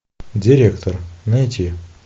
директор найти